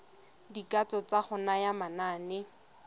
dikatso tsa go naya manane